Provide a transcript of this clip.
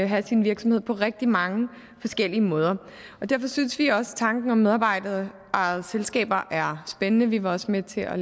have sin virksomhed på rigtig mange forskellige måder og derfor synes vi også tanken om medarbejderejede selskaber er spændende vi var også med til at